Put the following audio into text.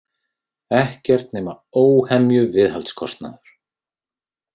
Ekkert nema óhemju viðhaldskostnaður.